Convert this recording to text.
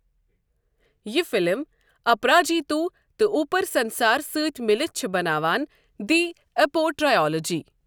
یہ فلم، اپراجیتو تہٕ اپُر سنسار سۭتۍ مِلتھ چھِ بناوان دی اپو ٹرائیلوجی۔